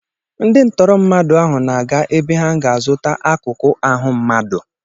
Ndị tọọrọ mmadụ ahụ na-aga ebe ha ga-azụta akụkụ ahụ mmadụ.